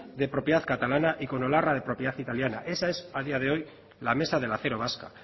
de propiedad catalana y con olarra de propiedad italiana esa es a día de hoy la mesa del acero vasca